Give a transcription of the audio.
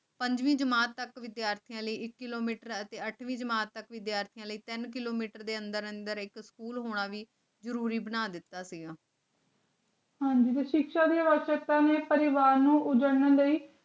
ਪੰਜਵੀਂ ਜਮਾਤ ਤੱਕ ਵਿਦਿਆਰਥੀਆਂ ਲਈ ਇੱਕ ਕਿਲੋਮੀਟਰ ਤੇ ਅੱਠਵੀਂ ਜਮਾਤ ਤੱਕ ਦੇ ਵਿਦਿਆਰਥੀਆਂ ਲਈ ਤਿੰਨ ਕਿਲੋਮੀਟਰ ਦੇ ਅੰਦਰ-ਅੰਦਰ ਇੱਕ ਸਕੂਲ ਹੋਣਾ ਵੀ ਜ਼ਰੂਰੀ ਬਣਾ ਦਿੱਤਾ ਹੁਣ ਜਦੋਂ ਸਿੱਖਾਂ ਦੇ ਵਰਕ ਪਰਮਿਟ ਪਰਿਵਾਰ ਨੂੰ ਉਜਾੜਨ ਲਈ